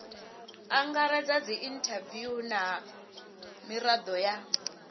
angaredza dziinthaviwu na mirado ya